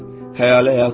Xəyali həyat yox.